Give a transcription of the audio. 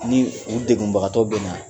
Ni u degbagatɔ bɛ na